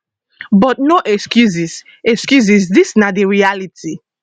but no excuses excuses dis na di reality